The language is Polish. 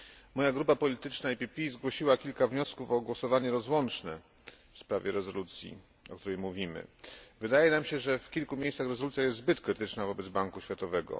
Moja grupa polityczna PPE zgłosiła kilka wniosków o głosowanie rozłączne w sprawie rezolucji, o której mówimy. Wydaje nam się, że w kilku miejscach rezolucja jest zbyt krytyczna wobec Banku Światowego.